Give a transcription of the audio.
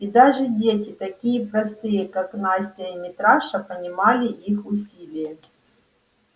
и даже дети такие простые как настя и митраша понимали их усилие